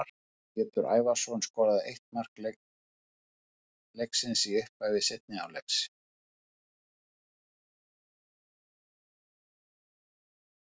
Ármann Pétur Ævarsson skoraði ein mark leiksins í upphafi seinni hálfleiks.